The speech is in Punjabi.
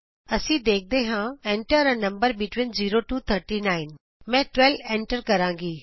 ਅਸੀਂ ਵੇਖਦੇ ਹਾਂ Enter a number between 0 to 39 ਮੈਂ 12 ਐਂਟਰ ਕਰਾਂਗੀ